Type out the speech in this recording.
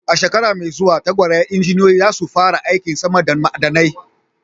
A shekara mai zuwa, tawagar injiniyoyi za su fara aikin samar da ma'adanai.